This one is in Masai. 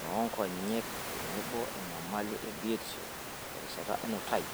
noonkonyek tenebo enyamali e biotisho terishata enutai.